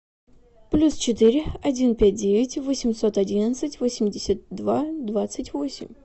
плюс четыре один пять девять восемьсот одиннадцать восемьдесят два двадцать восемь